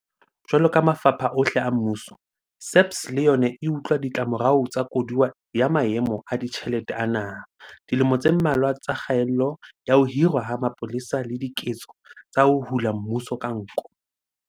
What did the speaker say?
Jwaloka mafapha ohle a mmuso, SAPS le yona e utlwa ditlamorao tsa koduwa ya maemo a ditjhelete a naha, dilemo tse mmalwa tsa kgaello ya ho hirwa ha mapolesa le diketso tsa ho hula mmuso ka nko.